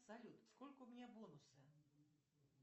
салют сколько у меня бонусы